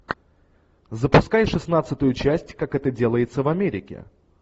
запускай шестнадцатую часть как это делается в америке